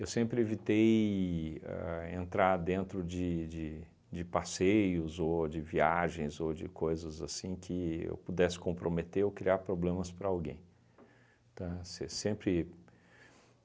Eu sempre evitei ahn entrar dentro de de de passeios ou de viagens ou de coisas assim que eu pudesse comprometer ou criar problemas para alguém, tá, se sempre